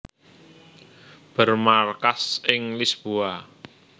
Bermarkas ing Lisboa